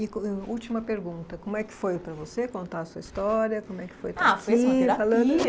e última pergunta, como é que foi para você contar a sua história, como é que foi estar aqui falando? Ah, foi assim uma terapia!